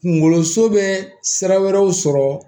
Kunkoloso bɛ sira wɛrɛw sɔrɔ